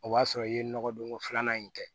O b'a sɔrɔ i ye nɔgɔ donko filanan in kɛ